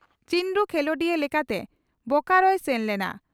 ᱪᱤᱱᱰᱩ ᱠᱷᱮᱞᱚᱸᱰᱤᱭᱟᱹ ᱞᱮᱠᱟᱛᱮ ᱵᱚᱠᱟᱨᱚᱭ ᱥᱮᱱ ᱞᱮᱱᱟ ᱾